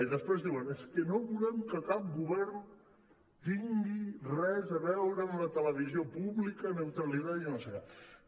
i després diuen és que no volem que cap govern tingui res a veure amb la televisió pública neutralidad i no sé què